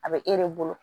A bɛ e de bolo